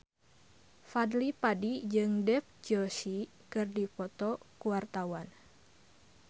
Fadly Padi jeung Dev Joshi keur dipoto ku wartawan